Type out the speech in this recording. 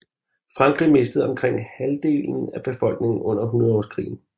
Frankrig mistede omkring halvdelen af befolkningen under hundredårskrigen